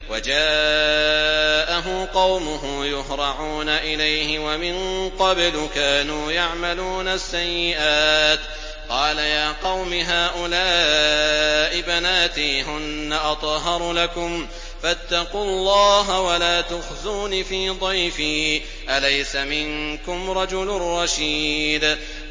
وَجَاءَهُ قَوْمُهُ يُهْرَعُونَ إِلَيْهِ وَمِن قَبْلُ كَانُوا يَعْمَلُونَ السَّيِّئَاتِ ۚ قَالَ يَا قَوْمِ هَٰؤُلَاءِ بَنَاتِي هُنَّ أَطْهَرُ لَكُمْ ۖ فَاتَّقُوا اللَّهَ وَلَا تُخْزُونِ فِي ضَيْفِي ۖ أَلَيْسَ مِنكُمْ رَجُلٌ رَّشِيدٌ